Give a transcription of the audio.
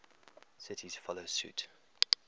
cities follow suit